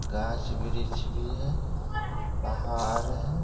गाछ-वृक्ष भी है पहाड़ है।